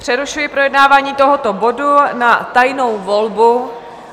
Přerušuji projednávání tohoto bodu na tajnou volbu.